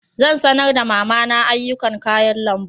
Zan sanar da mama na ayyukan kayan lambu.